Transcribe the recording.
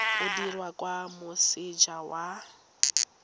o dirwa kwa moseja wa